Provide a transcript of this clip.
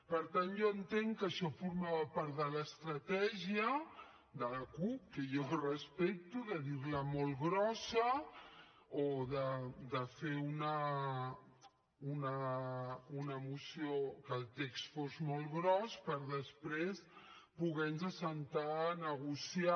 per tant jo entenc que això formava part de l’estratègia de la cup que jo respecto de dir la molt grossa o de fer una moció que el text fos molt gros per després poder nos seure a negociar